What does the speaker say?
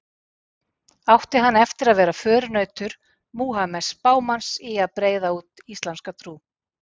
Átti hann eftir að vera förunautur Múhameðs spámanns í að breiða út íslamska trú.